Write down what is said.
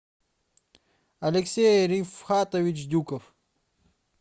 алексей рифхатович дюков